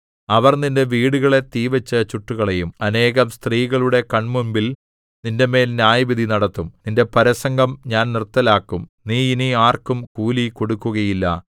അവർ നിന്റെ വീടുകളെ തീവച്ചു ചുട്ടുകളയും അനേകം സ്ത്രീകളുടെ കണ്മുമ്പിൽ നിന്റെമേൽ ന്യായവിധി നടത്തും നിന്റെ പരസംഗം ഞാൻ നിർത്തലാക്കും നീ ഇനി ആർക്കും കൂലി കൊടുക്കുകയില്ല